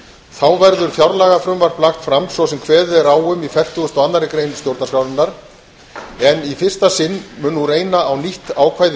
þá verður fjárlagafrumvarp lagt fram svo sem kveðið er á um í fertugustu og annarri grein stjórnarskrárinnar en í fyrsta sinn mun nú reyna á nýtt ákvæði